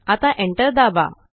आता Enter दाबा